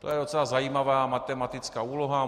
To je docela zajímavá matematická úloha.